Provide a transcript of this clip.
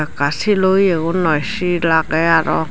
ka shilo iyo gun noi shil agey aro.